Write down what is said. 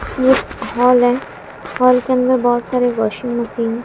ये हॉल है हॉल के अंदर बहोत सारे वाशिंग मशीन --